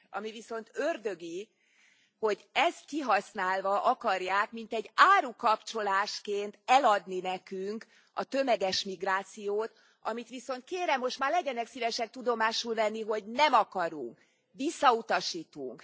Ami viszont ördögi, hogy ezt kihasználva akarják mintegy árukapcsolásként eladni nekünk a tömeges migrációt, amit viszont kérem, most már legyenek szívesek tudomásul venni, hogy nem akarunk, visszautasítunk.